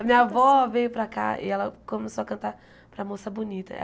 A minha avó veio para cá e ela começou a cantar para a moça bonita.